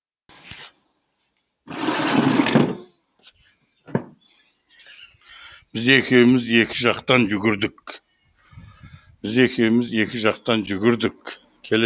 біз екеуміз екі жақтан жүгірдік біз екеуіміз екі жақтан жүгірдік